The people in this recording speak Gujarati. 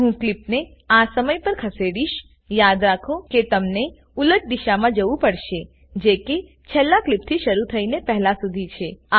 હું કલીપને આ સમય પર ખસેડીશયાદ રાખો કે તમને ઉલટ દિશામાં જવું પડશે જે કે છેલ્લા ક્લીપથી શરુ થઈને પહેલા સુધી છે